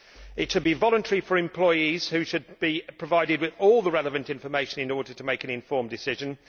it should be voluntary, and employees should be provided with all the relevant information in order to make an informed decision.